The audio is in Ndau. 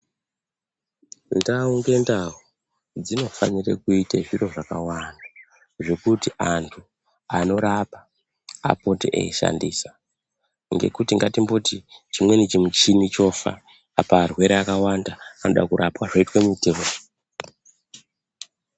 Ndau ngendau dzinofanire kuite zviro zvakawanda, zvekuti antu anorapa apote eishandisa ngekuti ngatimboti chimweni chimuchini chofa apa arwere akawanda anode kurapwa, zvoitwa muitirwei.